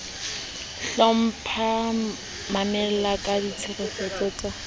hlompha mamela ka tshetshefo ka